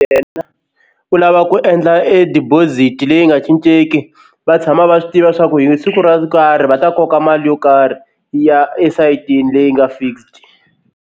Yena u lava ku endla e deposit leyi nga cincenki va tshama va swi tiva swa ku hi siku ro karhi va ta koka mali yo karhi yi ya esayitini leyi nga fixed.